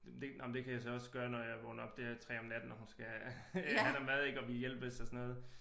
Det nåh men det kan jeg så også gøre når jeg vågner op dér 3 om natten når hun skal have noget mad ik og vi hjælpes og sådan noget